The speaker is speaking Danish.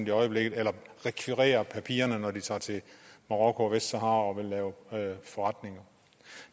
i øjeblikket eller rekvirerer papirerne når de tager til marokko og vestsahara og vil lave forretninger